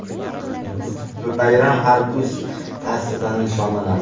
Bayram har kuz faslida nishonlanadi.